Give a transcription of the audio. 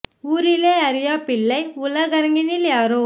ஊரிலே அறியாப்பிள்ளை உலகரங்கினில் யாரோ